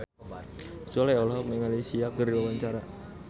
Sule olohok ningali Sia keur diwawancara